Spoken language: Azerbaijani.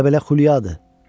Elə belə xülyadır.